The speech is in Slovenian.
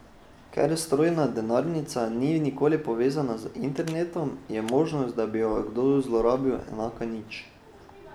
Ker strojna denarnica ni nikoli povezana z internetom, je možnost, da bi jo kdo zlorabil, enaka nič.